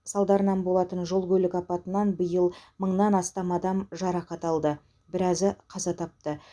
салдарынан болатын жол көлік апатынан биыл мыңнан астам адам жарақат алды біразы қаза тапты